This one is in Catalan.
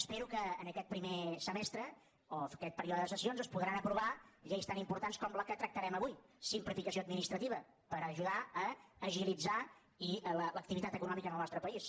espero que en aquest primer semestre o aquest període de sessions es podran aprovar lleis tan importants com la que tractarem avui simplificació administrativa per ajudar a agilitzar l’activitat econòmica en el nostre país